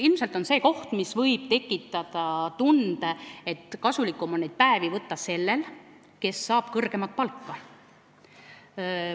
Ilmselt võib see koht tekitada tunde, et kasulikum on neid päevi võtta sellel, kes saab kõrgemat palka.